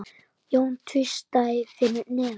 Jón tvísté fyrir neðan.